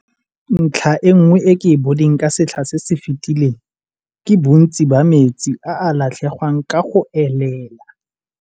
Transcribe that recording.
Ntlha e nngwe e ke e boneng ka setlha se se fetileng ke bontsi ba metsi a a latlhegwang ka go elela.